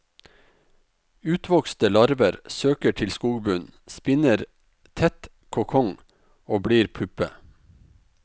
Utvokste larver søker til skogbunnen, spinner tett kokong og blir puppe.